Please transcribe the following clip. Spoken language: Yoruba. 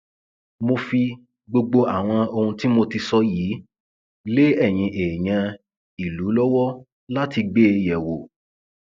mo fi gbogbo àwọn ohun tí mo ti sọ yìí lé eyín èèyàn ìlú lọwọ láti gbé e yẹwò